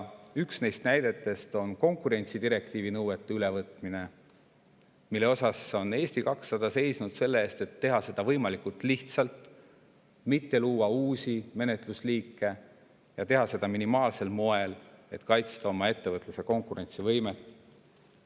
Üks näide on konkurentsidirektiivi nõuete ülevõtmine, mille käigus on Eesti 200 seisnud selle eest, et seda teha võimalikult lihtsalt, mitte luues uusi menetlusliike, ja minimaalsel moel, et kaitsta oma ettevõtluse konkurentsivõimet.